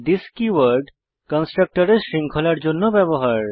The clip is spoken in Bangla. থিস কীওয়ার্ড কন্সট্রকটরের শৃঙ্খলার জন্য ব্যবহার